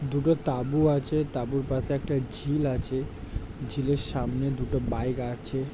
দুটো তাবু আছে। তাবুর পাশে একটা ঝিল আছে। ঝিলের সামনে দুটো বাইক আছে।